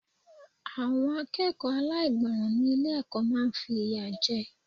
Àwọn akẹ́kọ̀ọ́ aláìgbọràn ni ilé ẹ̀kọ́ máa ń fi ìyà jẹ.